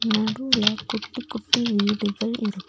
நடுவுல குட்டி குட்டி வீடுகள் இருக்--